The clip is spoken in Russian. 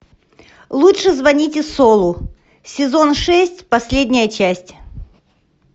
лучше звоните солу сезон шесть последняя часть